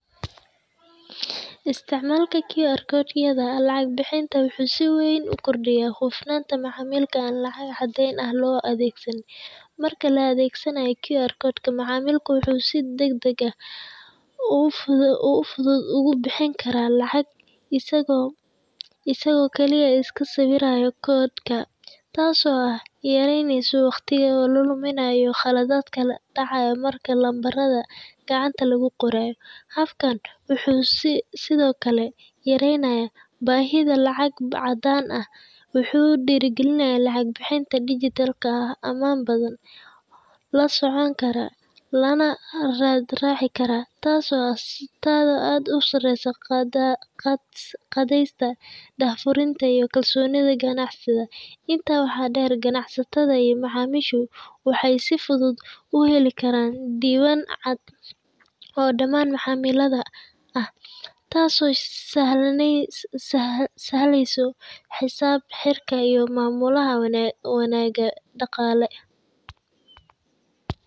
Isticmalka krhojada lacag bixinta wuxu sii waan ugordiya xuflada macmilka lacag daan ah loo adgsadoh, marka la adagsanayoh krgojka macmilka wuxu sii dag dag ah, ogu fududa ogu bixinkarah lacag isticmalka asago, kali iska siwirayo codeka taas oo ah yaraynasoh waqtika la duminayo qalaladka dacayo marka numberda gacanta lagu qorayoh, halkan wuxu sii side okle yaraynaya bahida lacagta lacag cadan ah wuxu dira galinayo lacag bixinta digetalka ah aman badan, lo socogarah waxa lo racikarah ad iyo ad usarayoh qadiysak burinta iyo kalsonida ganacsika intas wax dar ganacsatada iyo macmisha waxay si fudud u halikaran diwan, oo daman macmilada ah, taas oo sahlaysoh xisab xirka iyo mamulaha wanag daqali.